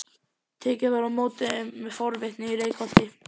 Tekið var á móti þeim með forvitni í Reykholti.